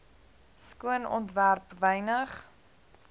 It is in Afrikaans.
skoon ontwerp wynig